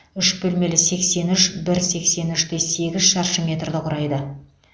үш бөлмелі сексен үш бір сексен үш те сегіз шаршы метрді құрайды